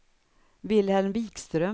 Wilhelm Vikström